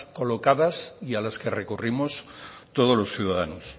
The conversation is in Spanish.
colocadas y a las que recurrimos todos los ciudadanos